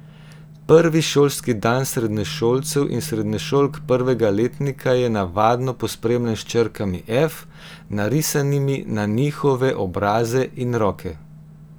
Prvi šolski dan srednješolcev in srednješolk prvega letnika je navadno pospremljen s črkami F, narisanimi na njihove obraze in roke.